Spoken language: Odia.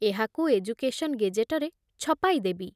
ଏହାକୁ ଏଜୁକେଶନ ଗେଜେଟରେ ଛପାଇଦେବି ।